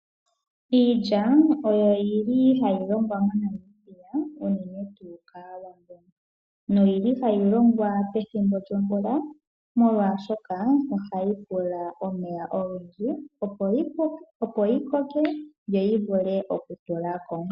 Iilya ohayi longwa moNamibia unene kAawambo. Ohayi longwa pethimbo lyomvula molwaashoka ohayi pula omeya ogendji opo yi koke yo yi vule okutula ko.